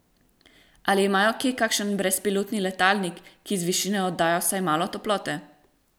Ali imajo kje kakšen brezpilotni letalnik, ki z višine oddaja vsaj malo toplote?